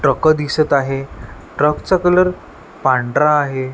Truck दिसत आहे ट्रकचा कलर पांढरा आहे.